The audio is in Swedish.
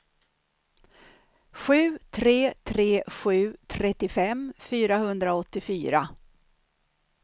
sju tre tre sju trettiofem fyrahundraåttiofyra